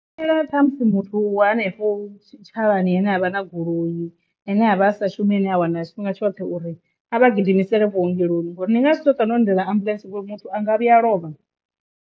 Ṱhamusi muthu wa hanefho tshitshavhani ane avha na goloi ane avha a sa shumi ine a wana tshifhinga tshoṱhe uri a vha gidimisele vhuongeloni ngori ni nga si tu hu ṱwa no lindela ambuḽentse ngori muthu anga vhuya lovha.